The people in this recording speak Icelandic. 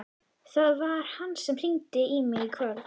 Það var hann sem hringdi í mig í kvöld.